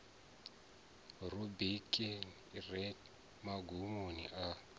rubriki i re magumoni a